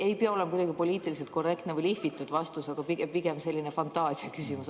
Ei pea olema kuidagi poliitiliselt korrektne või lihvitud vastus, mul on pigem selline fantaasiaküsimus.